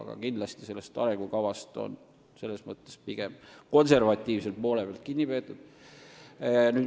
Aga kindlasti on arengukavast selles mõttes pigem konservatiivselt kinni peetud.